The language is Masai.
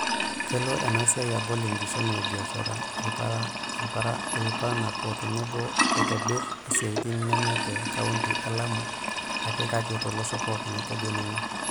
"Kelo ena siai abol inkishomi e biashara, ilaparanak o tenebo aitobir isiatin neme te kaunti elamu ake kake tolosho pooki," etejo ninye.